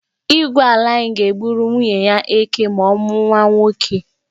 Igwe ala anyị ga-egburu nwunye ya eké ma ọ mụọ nwa nwoke.